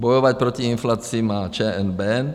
Bojovat proti inflaci má ČNB.